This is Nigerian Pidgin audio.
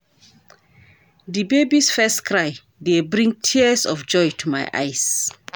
Di baby's first cry dey bring tears of joy to my eyes.